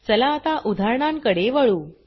चला आता उदाहरणां कडे वळू